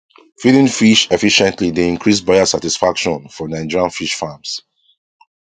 feeding fish efficiently dey increase buyer satisfaction for nigerian fish farms